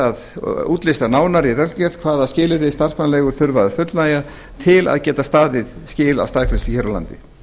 að útlista nánar í reglugerð hvaða skilyrðum starfsmannaleigur þurfi að fullnægja til að geta staðið skil á staðgreiðslu hér á landi